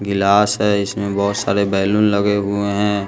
गिलास है इसमें बहुत सारे बैलून लगे हुए हैं।